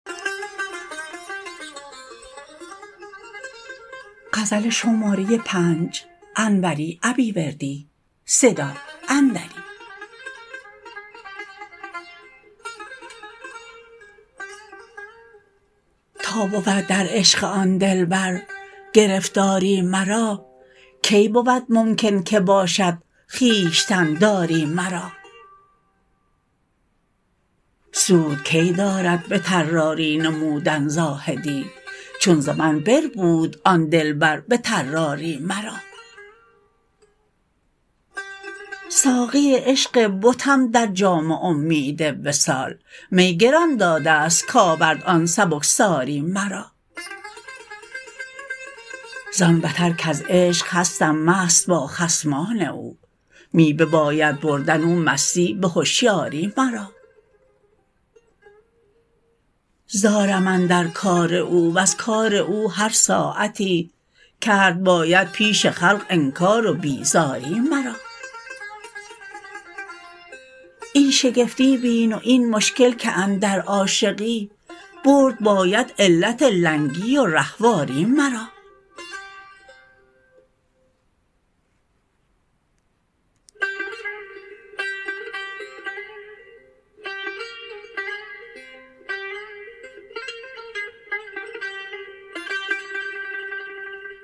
تا بود در عشق آن دلبر گرفتاری مرا کی بود ممکن که باشد خویشتن داری مرا سود کی دارد به طراری نمودن زاهدی چون ز من بربود آن دلبر به طراری مرا ساقی عشق بتم در جام امید وصال می گران دادست کارد آن سبکساری مرا زان بتر کز عشق هستم مست با خصمان او می بباید بردن او مستی به هشیاری مرا زارم اندر کار او وز کار او هر ساعتی کرد باید پیش خلق انکار و بیزاری مرا این شگفتی بین و این مشکل که اندر عاشقی برد باید علت لنگی و رهواری مرا